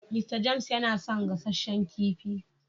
"Mr James" yana son gasasshen kifi.